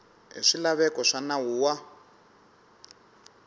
hi swilaveko swa nawu wa